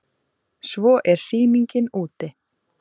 Svo er sýningin úti.